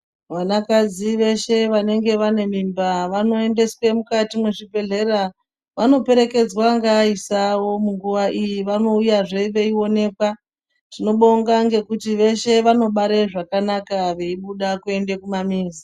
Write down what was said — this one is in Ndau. Vana kadzi veshe vanenge vane mimba vanoendeswe mukati mezvi bhehlera vanoperekedzwa ngea isi avo munguva iyi vanouyazve veionekwa tinobonga nekuti voshe vanobara zvakanaka zveibuda kuende kuma mizi.